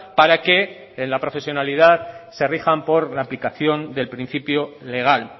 para que en la profesionalidad se rijan por la aplicación del principio legal